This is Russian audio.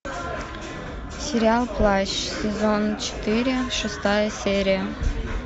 сериал плащ сезон четыре шестая серия